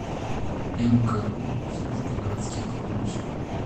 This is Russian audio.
мку служба городских кладбищ